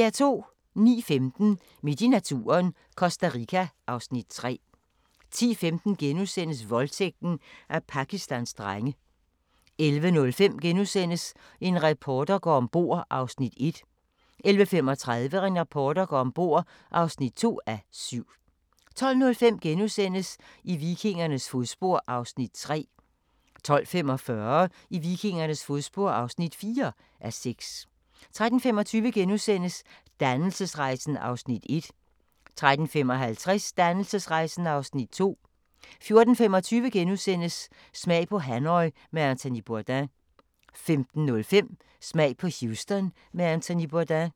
09:15: Midt i naturen – Costa Rica (Afs. 3) 10:15: Voldtægten af Pakistans drenge * 11:05: En reporter går om bord (1:7)* 11:35: En reporter går om bord (2:7) 12:05: I vikingernes fodspor (3:6)* 12:45: I vikingernes fodspor (4:6) 13:25: Dannelsesrejsen (Afs. 1)* 13:55: Dannelsesrejsen (Afs. 2) 14:25: Smag på Hanoi med Anthony Bourdain * 15:05: Smag på Houston med Anthony Bourdain